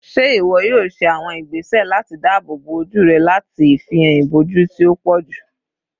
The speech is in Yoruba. Ṣe iwọ yoo ṣe awọn igbese lati daabobo oju rẹ lati ifihan iboju ti o pọju?